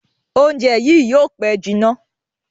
Oúnjẹ yí yóò pe jìnà.